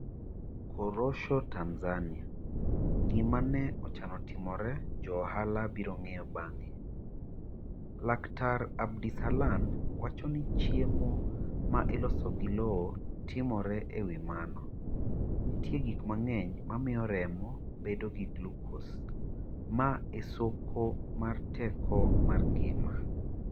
Korosho Tanzania: 'Gima ne Ochano Timore 'Jo ohala biro ng'eyo bang'e' laktar. Abdisalan wacho ni chiemo ma iloso gi lowo timore E wi mano, nitie gik mang'eny ma miyo remo bedo gi glucose, ma e soko mar teko mar ngima.